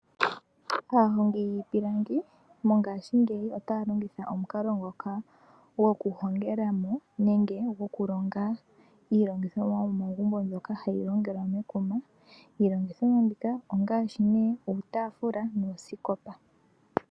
Aahongi yiipilangi mongashingeyi otaya omukalo ngoka gokuhongela mo nenge gokulonga iilongithomwa yomomagumbo mbyoka hayi longelwa mekuma. Iilongithomwa mbika ongaashi nee uutaafula nuusikopa.